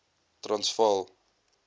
transvaal